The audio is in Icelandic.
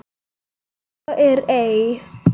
Svo er ei.